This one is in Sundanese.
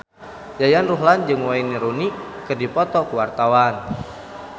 Yayan Ruhlan jeung Wayne Rooney keur dipoto ku wartawan